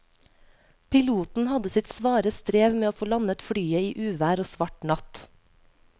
Piloten hadde sitt svare strev med å få landet flyet i uvær og svart natt.